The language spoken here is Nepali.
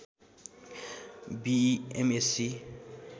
बिइ एम एस्सी